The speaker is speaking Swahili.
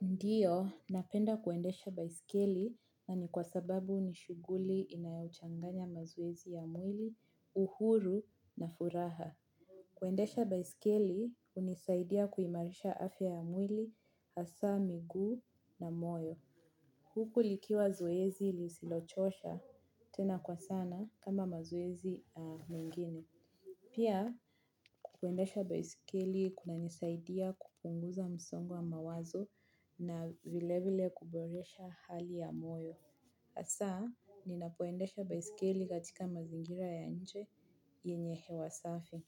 Ndio, napenda kuendesha basikeli na ni kwa sababu nishughuli inayochanganya mazoezi ya mwili, uhuru na furaha. Kuendesha baiskeli, unisaidia kuimarisha afya ya mwili, hasa, miguu na moyo. Huku likiwa zoezi ilisilochosha, tena kwa sana, kama mazoezi mengine. Pia, kuendesha baiskeli kunanisaidia kupunguza msongo wa mawazo na vile vile kuboresha hali ya moyo. Asa, ninapoendesha baiskeli katika mazingira ya nje yenye hewa safi.